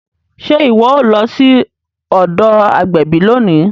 Ṣe iwọ o lọ sí ọdọ agbẹbi lóni?